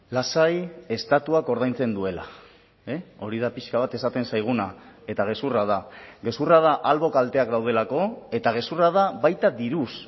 lasai estatuak ordaintzen duela hori da pixka bat esaten zaiguna eta gezurra da gezurra da albo kalteak daudelako eta gezurra da baita diruz